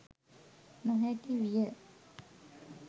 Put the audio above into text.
නොහැකි විය